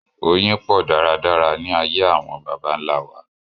Oyin pọ̀ dáradára ní ayé àwọn baba nlá wa